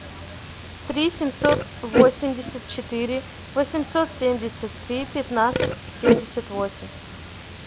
три семьсот восемьдесят четыре восемьсот семьдесят три пятнадцать семьдесят восемь